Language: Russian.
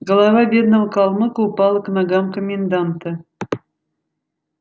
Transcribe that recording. голова бедного калмыка упала к ногам коменданта